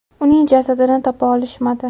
Uning jasadini topa olishmadi.